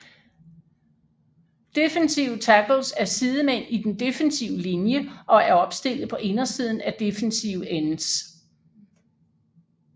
Defensive tackles er sidemænd i den defensive linje og er opstillet på indersiden af defensive ends